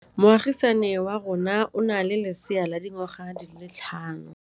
Moagisane wa rona o na le lesea la dikgwedi tse tlhano.